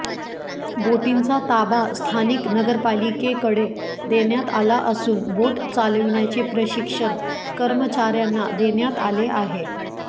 बोटींचा ताबा स्थानिक नगरपालिकेकडे देण्यात आला असून बोट चालविण्याचे प्रशिक्षण कर्मचाऱ्यांना देण्यात आले आहे